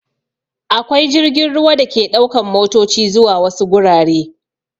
Akwai jirgin ruwa da ke ɗaukan matoci zuwa wasu gurare.